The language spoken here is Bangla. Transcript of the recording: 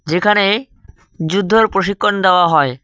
যেখানে যুদ্ধর প্রশিক্ষণ দেওয়া হয়।